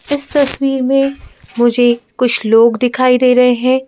इस तस्वीर में मुझे कुछ लोग दिखाई दे रहे हैं।